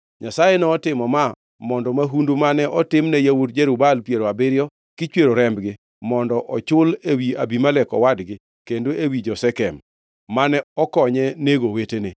Nyasaye notimo ma mondo mahundu mane otimne yawuot Jerub-Baal piero abiriyo, kichwero rembgi, mondo ochul ewi Abimelek owadgi kendo ewi jo-Shekem, mane okonye nego owetene.